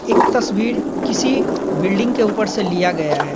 एक तस्वीर किसी बिल्डिंग के ऊपर से लिया गया है।